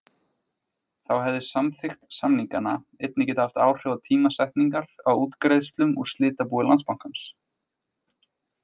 Þá hefði samþykkt samninganna einnig getað haft áhrif á tímasetningar á útgreiðslum úr slitabúi Landsbankans.